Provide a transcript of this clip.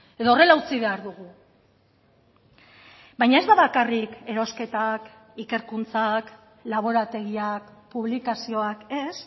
edo horrela utzi behar dugu baina ez da bakarrik erosketak ikerkuntzak laborategiak publikazioak ez